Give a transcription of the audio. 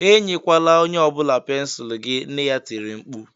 "Enyelwala onye ọ bụla pensụl gị!" nne ya tiri mkpu